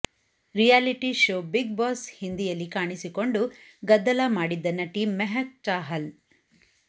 reality show Bigg Boss ಹಿಂದಿಯಲ್ಲಿ ಕಾಣಿಸಿಕೊಂಡು ಗದ್ದಲ ಮಾಡಿದ್ದ ನಟಿ ಮೆಹಕ್ ಚಾಹಲ್